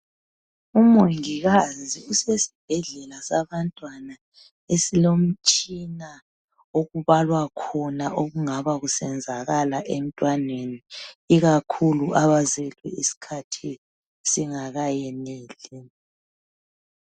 umongikazi usesibhedlela sabantwana esilomtshina okubalwa khona okungaba kusenzakala emntwaneni ikakhulu abazelwe isikhathi singakayeneli